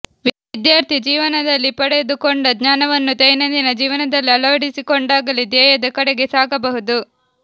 ವಿದ್ಯಾರ್ಥಿ ಜೀವನದಲ್ಲಿ ಪಡೆ ದು ಕೊಂಡ ಜ್ಞಾನವನ್ನು ದೈನಂದಿನ ಜೀವನ ದಲ್ಲಿ ಅಳ ವಡಿ ಸಿಕೊಂಡಾಗಲೇ ಧ್ಯೇಯದ ಕಡೆಗೆ ಸಾಗಬಹುದು